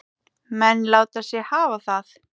Menn láta sig hafa það.